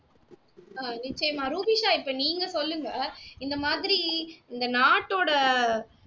ஆஹ் நிச்சயமா ரூபிஷா இப்போ நீங்க சொல்லுங்க இந்த மாதிரி இந்த நாட்டோட